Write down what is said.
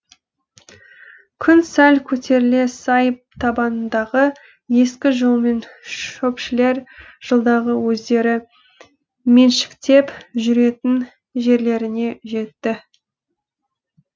күн сәл көтеріле сай табанындағы ескі жолмен шөпшілер жылдағы өздері меншіктеп жүретін жерлеріне жетті